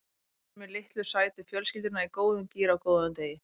Ég sé fyrir mér litlu sætu fjölskylduna í góðum gír á góðum degi.